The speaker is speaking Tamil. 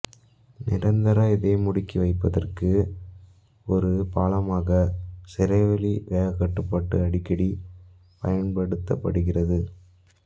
நிரந்தர இதயமுடுக்கி வைப்பதற்கு ஒரு பாலமாக சிரைவழி வேகக்கட்டுப்பாடு அடிக்கடி பயன்படுத்தப்படுகிறது